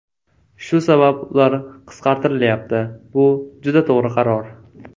Shu sabab ular qisqartirilyapti, bu juda to‘g‘ri qaror.